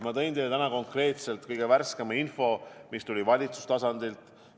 Ma tõin teile täna konkreetselt kõige värskema info, mis tuli valitsustasandilt.